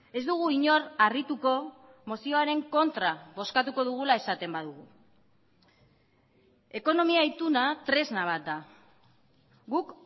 ez dugu inor harrituko mozioaren kontra bozkatuko dugula esaten badugu ekonomia ituna tresna bat da guk